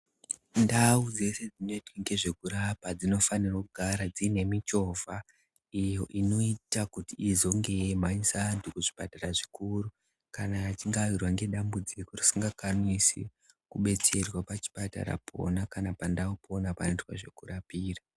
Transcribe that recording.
Ndau dzese dzinoita ngezvekurapa dzinofanirwe kugara dzine michovha iyo inoita kuti izonge yeimhanyisa antu kuzvipatara zvikuru kana achinge awirwa nedambudziko risingakanisi kubetserwa pachipatara pona kana pandau pona panoitwa zvekurapira.